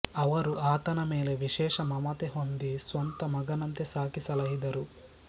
ಅವರು ಆತನ ಮೇಲೆ ವಿಶೇಷ ಮಮತೆ ಹೊಂದಿ ಸ್ವಂತ ಮಗನಂತೆ ಸಾಕಿ ಸಲಹಿದರು